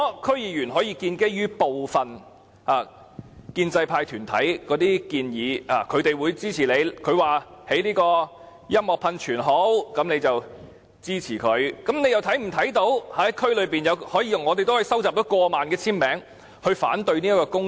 區議員可以基於部分建制派團體的支持而建議興建音樂噴泉，他們是有支持的，但我們也可以收集過萬簽名來反對該項工程。